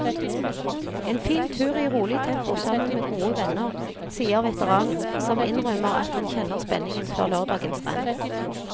En fin tur i rolig tempo sammen med gode venner, sier veteranen, som innrømmer at han kjenner spenningen før lørdagens renn.